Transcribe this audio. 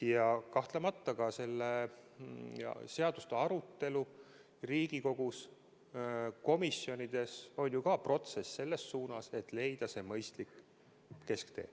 Ja kahtlemata ka selle seaduseelnõu arutelu Riigikogu komisjonides on protsess selle nimel, et leida see mõistlik kesktee.